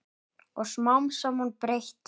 Og smám saman breyt